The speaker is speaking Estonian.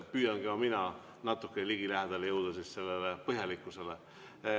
Püüan ka mina natuke ligilähedale jõuda sellele põhjalikkusele.